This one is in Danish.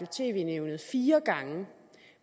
tv nævnet fire gange